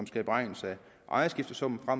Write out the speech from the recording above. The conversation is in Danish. skal beregnes af ejerskiftesummen og